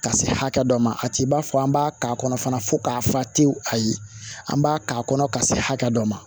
Ka se hakɛ dɔ ma a t'i b'a fɔ an b'a k'a kɔnɔ fana fo k'a fa tewu ayi an b'a k'a kɔnɔ ka se hakɛ dɔ ma